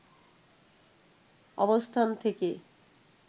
অবস্থান থেকে